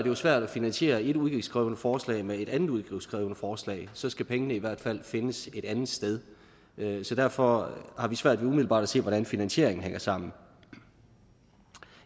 jo svært at finansiere et udgiftskrævende forslag med et andet udgiftskrævende forslag så skal pengene i hvert fald findes et andet sted derfor har vi svært ved umiddelbart at se hvordan finansieringen hænger sammen